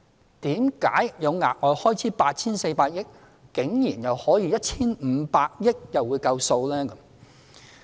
為何企業有額外開支 8,400 億元，但 1,500 億元竟然又會足夠？